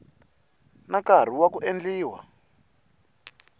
na nkarhi wa ku endliwa